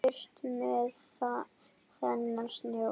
Burt með þennan snjó.